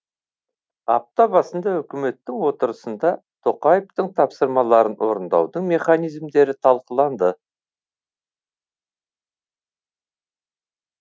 апта басында үкіметтің отырысында тоқаевтың тапсырмаларын орындаудың механизмдері талқыланды